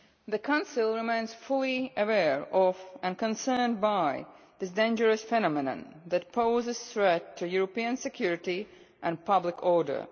The Council remains fully aware of and concerned by this dangerous phenomenon that poses a threat to European security and public order.